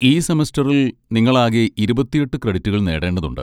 ഈ സെമസ്റ്ററിൽ നിങ്ങൾ ആകെ ഇരുപത്തിയെട്ട് ക്രെഡിറ്റുകൾ നേടേണ്ടതുണ്ട്.